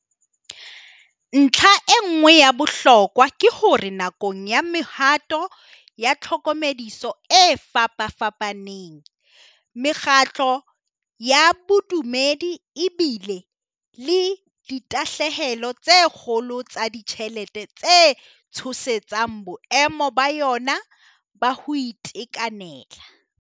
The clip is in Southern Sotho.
Ntlha e nngwe ya bohlokwa ke hore nakong ya mehato ya tlhokomediso e fapafapa neng, mekgatlo ya bodumedi e bile le ditahlehelo tse kgolo tsa ditjhelete tse tshosetsang boemo ba yona ba ho ite kanela.